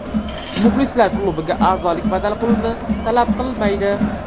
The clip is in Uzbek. Muxlislar klubiga azolik badal pulini talab qilmaydi.